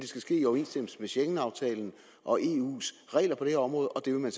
skal ske i overensstemmelse med schengenaftalen og eus regler på det her område og det vil man